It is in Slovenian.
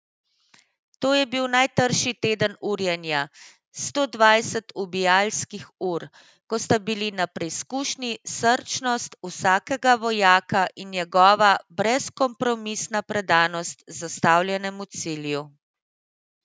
To je bil najtrši teden urjenja, sto dvajset ubijalskih ur, ko sta bili na preizkušnji srčnost vsakega vojaka in njegova brezkompromisna predanost zastavljenemu cilju.